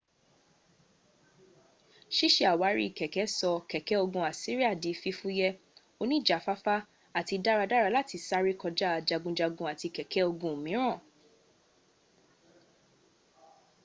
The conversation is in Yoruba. sísẹ àwárí kèké sọ kèké ogun assiria di fífúyé oníjàfáfá àti dáradára láti sárẹ́ kọja jagunjagun àti kèké ogun míràn